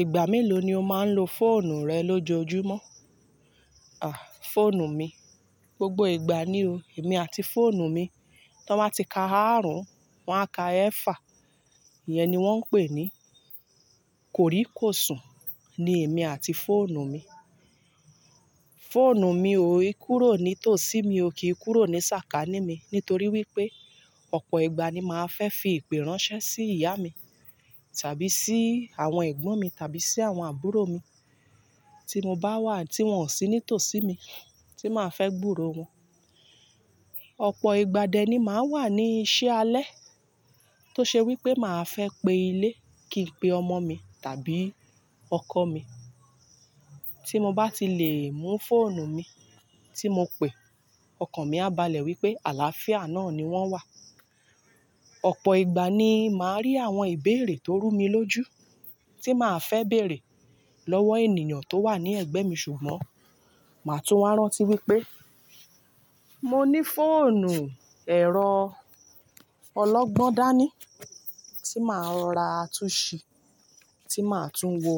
Ìgbà mélòó ni o máa ń lo fóònù rẹ lójoojúmọ́? À, fóònù mi, gbogbo ìgbà ni o. Èmi àti fóònù mi, tí wọ́n bá ti ka àrùn, wọ́n á ka ẹ́fà. Iyẹn ni wọ́n ń pè ní kòríkòsùn ni èmi àti fóònù mi. Fóònù mi ò e kúrò ní tòsí mi ò kí í kúrò ní sàkání mi nítorí wípé ọ̀pọ̀ ìgbà ni màá fẹ́ fi ìpè ránṣẹ́ sí ìyá mi tàbí sí àwọn ẹ̀gbọ́n mi tàbí sí àwọn àbúrò mi tí mo bá wà tí wọ́n ò sí ní tòsí mi tí màá fẹ́ gburo wọn. Ọ̀pọ̀ ìgbà dẹ ni màá wà ní iṣẹ́ alẹ́ tó ṣe wípé màá fẹ́ pe ilé kí ń pe ọmọ mi tàbí ọkọ mi. Tí mo bá ti lè mú fóònù mi tí mo pè, ọkàn mi á balẹ̀ wípé àlàáfíà náà ni wọ́n wà. Ọ̀pọ̀ ìgbà ni màá rí àwọn ìbéèrè tó rú mi lójú tí màá fẹ́ bèèrè lọ́wọ́ ènìyàn tó wà ní ẹ̀gbẹ́ mi ṣùgbọ́n màá tún á rántí wípé mo ní fóònù ẹ̀rọ ọlọ́gbọ́n dání tí màá rora tún ṣí, tí màá tún wo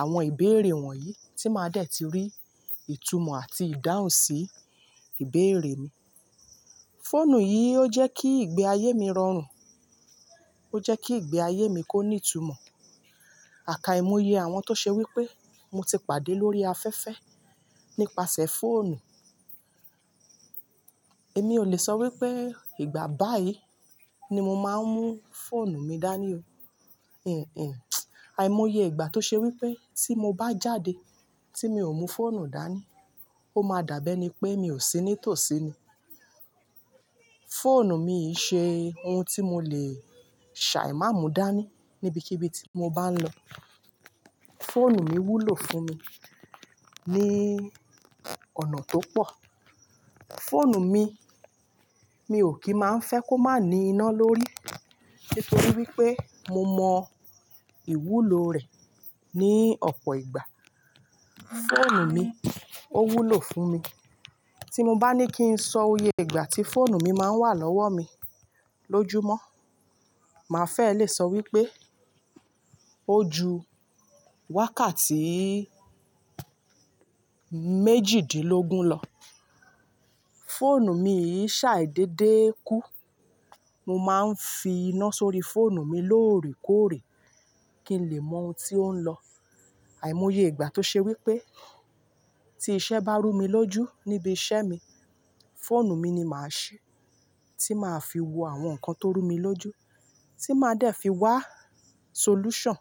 àwọn ìbéèrè wọ̀nyí tí màá dẹ̀ ti rí ìtumọ̀ àti ìdáhùn sí ìbéèrè mi. Fóònù yìí ó jẹ́ kí ìgbẹ́ ayé mi rọrùn, ó jẹ́ kí ìgbẹ́ ayé mi kó ní ìtumọ̀. Àkaìmoye àwọn tó ṣe wípé mo ti pàdé lórí afẹ́fẹ́ nípasẹ̀ fóònù. Èmi ò lè sọ wípé ìgbà báyìí ni mo máa ń mú fóònù mi dání o. Hinhin, àìmoye ìgbà tó ṣe wípé tí mo bá jáde tí mi ò mú fóònù dání ó máa dàbí ẹni pé mi ò sí ní tòsí ni. Fóònù mi yìí ṣe ohun tí mo lè ṣàìmá mú dání níbikíbi tí mo bá ń lọ. Fóònù mi wúlò fún mi ní ọ̀nà tó pọ̀. Fóònù mi, mi ò kí máa ń fẹ́ kó má ní iná lórí nítorí wípé mo mọ ìwúlò rẹ̀ ní ọ̀pọ̀ ìgbà. Fóònù mi, ó wúlò fún mi. Tí mo bá ní kí ń sọ iye ìgbà tí fóònù mi máa ń wà lọ́wọ́ mi lójúmọ́, màá fẹ́ lè sọ wípé ó ju wákàtí méjìdínlógún lọ. Fóònù mi yìí ṣàì dédé kú. Mo máa ń fi iná sórí fóònù mi lóòrèkóòrè kí ń lè mọ ohun tí ó ń lọ. Àìmoye ìgbà tó ṣe wípé tí iṣẹ́ bá rú mi lójú níbi iṣẹ́ mi, fóònù mi ni màá ṣí tí màá fi wo àwọn nǹkan tó rú mi lójú tí màá dẹ̀ fi wá solution.